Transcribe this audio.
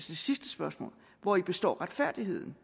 det sidste spørgsmål hvori består retfærdigheden